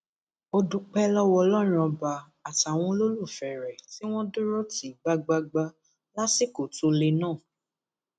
ó dúpẹ lọwọ ọlọrun ọba àtàwọn olólùfẹ rẹ tí wọn dúró tì í gbágbáágbá lásìkò tó le náà